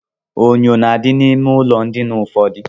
Enyò na-adị n'ime ụlọ ndina ụfọdụ.